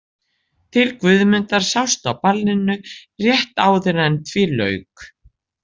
Til Guðmundar sást á ballinu rétt áður en því lauk.